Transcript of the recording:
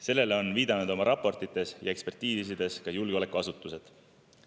Sellele on viidanud oma raportites ja ekspertiisides ka julgeolekuasutused.